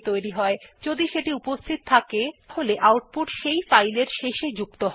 যদি ফাইলটির অস্তিত্ব আগে থেকেই থাকে তাহলে আউটপুট সেই ফাইল এর শেষে যুক্ত হয়